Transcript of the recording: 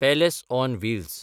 palace on Wills